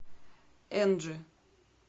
энджи